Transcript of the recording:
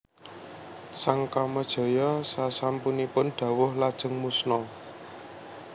Sang Kamajaya sasampunipun dawuh lajeng musna